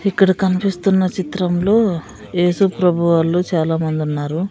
ఇక్కడ కనిపిస్తున్న చిత్రంలో ఏసుప్రభు వాళ్ళు చాలామంది ఉన్నారు.